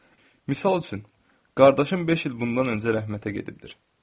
Misal üçün, qardaşım beş il bundan öncə rəhmətə gedibdir.